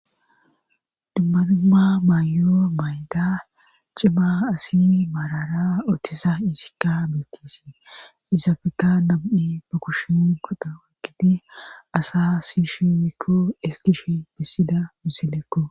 dummadumma maayoo maayda cima asi maarara otisa izikka beetise izaabeka nabu7i mukushin qota gidi asa sishiwikko eskish bissida misilekko